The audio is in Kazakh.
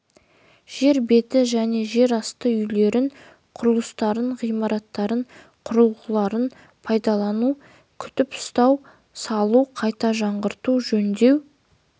жер беті және жер асты үйлерін құрылыстарын ғимараттарын құрылғыларын пайдалану күтіп-ұстау салу қайта жаңғырту жөндеу